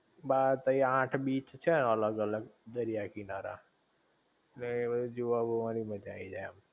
બ તઈ આઠ બીચ છે અલગ અલગ દરિયા કિનારા, ઍટલે એ બધુ જોવા બોવા ની મજા આઈ જાઇ એમ